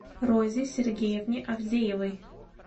розе сергеевне авдеевой